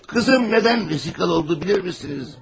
Qızım, nədən fahişə oldu, bilirmisiniz?